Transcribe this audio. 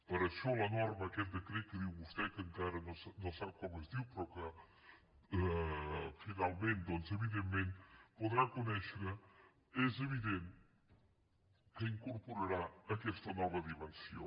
per això la norma aquest decret que diu vostè que encara no sap com es diu però que finalment doncs evidentment podrà conèixer és evident que incorporarà aquesta nova dimensió